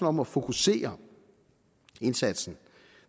om at fokusere indsatsen